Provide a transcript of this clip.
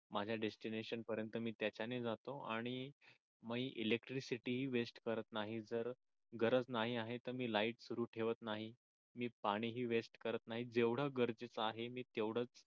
माझ्या डेस्टिनेशन पर्यंत मी त्याच्याने जातो आणि मी इलेक्ट्रिसिटी वेस्ट करत नाही जर गरज नाही आहे तर मी लाईट सुरू ठेवत नाही मी पाणी ही वेस्ट करत नाही जेवढ गरजेच आहे मी तेवढच